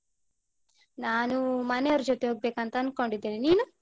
ನಾನು ಮನೆಯವ್ರ ಜೊತೆ ಹೋಗ್ಬೇಕಂತ ಅನ್ಕೊಂಡಿದ್ದೀನೆ, ನೀನು?